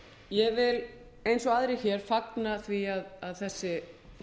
ég vil eins og aðrir hér fagna því að þessi